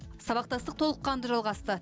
сабақтастық толыққанды жалғасты